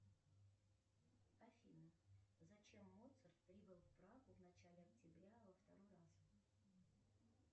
афина зачем моцарт прибыл в прагу в начале октября во второй раз